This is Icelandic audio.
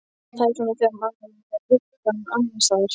Það er svona þegar maður er með hugann annars staðar.